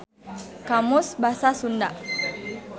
Kamus Basa Sunda.